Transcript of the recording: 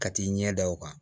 Ka t'i ɲɛ da o kan